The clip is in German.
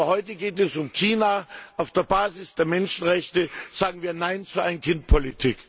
Aber heute geht es um China Auf der Basis der Menschenrechte sagen wir nein zur Ein Kind Politik.